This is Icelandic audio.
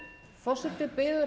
forseti biður